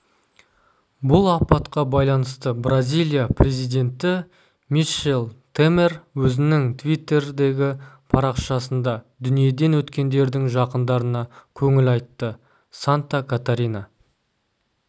бұл апатқа байланысты бразилия президенті мишел темер өзінің твиттердегі парақшасында дүниеден өткендердің жақындарына көңіл айтты санта-катарина